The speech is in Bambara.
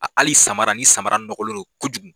A hali samara, ni samara nɔgɔlen dɔn kojugu.